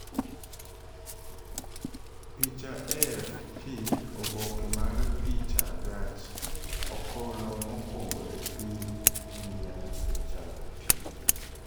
Picha AFP Oboke mar picha Gach okolo mokwongo e piny India osechako tiyo